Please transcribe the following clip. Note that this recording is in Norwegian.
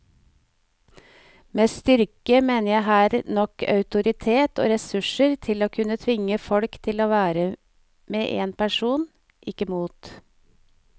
Med styrke mener jeg her nok autoritet og ressurser til å kunne tvinge folk til å være med en person, ikke mot.